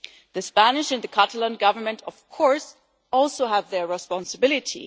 The Spanish and the Catalan Governments, of course, also have their responsibility.